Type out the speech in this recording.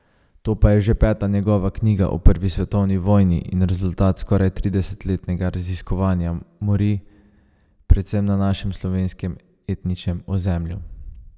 To pa je že peta njegova knjiga o prvi svetovni vojni in rezultat skoraj tridesetletnega raziskovanja morij predvsem na našem, slovenskem etničnem ozemlju.